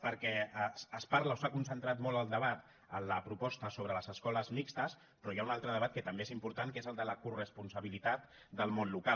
perquè es parla o s’ha concentrat molt el debat en la proposta sobre les escoles mixtes però hi ha un altre debat que també és important que és el de la coresponsabilitat del món local